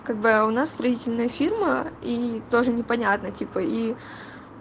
как бы а у нас строительная фирма и тоже непонятно типа и